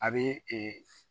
A bɛ